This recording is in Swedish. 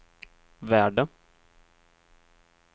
värde